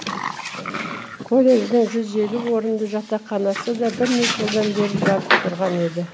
колледждің жүз елу орынды жатақханасы да бірнеше жылдан бері жабық тұрған еді